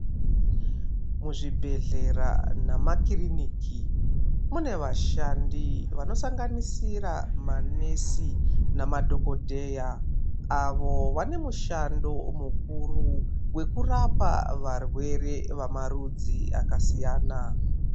Muzvibhedhlera namakiriniki munevashandi vanoaanganisira manesi namadhokodheya. Avo vanemushando mukuru wekurapa varwere vamarudzi akasiyana.